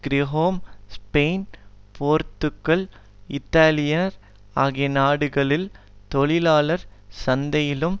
கிரேகோம் Spain Portugal Italy France ஆகிய நாடுகளில் தொழிலாளர் சந்தையிலும்